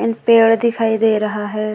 And पेड़ दिखाई दे रहा है।